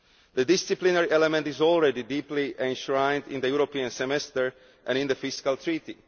The disciplinary element is already deeply enshrined in the European Semester and in the Fiscal Treaty.